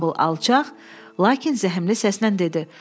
Bamble alçaq, lakin zəhmli səslə dedi: